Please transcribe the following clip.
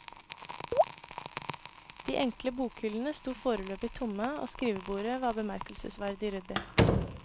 De enkle bokhyllene sto foreløpig tomme og skrivebordet var bemerkelsesverdig ryddig.